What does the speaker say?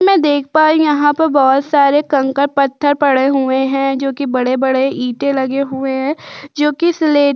मैं देख पा रहीं हूँ यहाँ पर बहुत सारे कंकड़ पत्थर पड़े हुए हैं जो कि बड़े-बड़े ईटे लगे हुए हैं जो कि सिलेट --